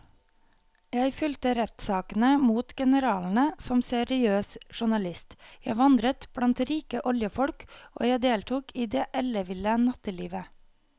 Jeg fulgte rettssakene mot generalene som seriøs journalist, jeg vandret blant rike oljefolk og jeg deltok i det elleville nattelivet.